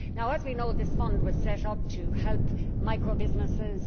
As we know, this fund was set up to help microbusinesses.